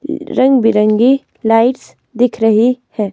रंग-बिरंगी लाइट्स दिख रही है.